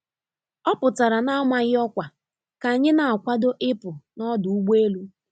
Ọ pụtara n'amaghị ọkwa ka anyị na akwado ịpụ n'ọdụ ụgbọ elu.